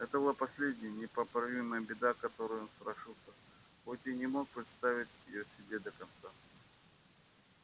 это была последняя непоправимая беда которой он страшился хоть и не мог представить её себе до конца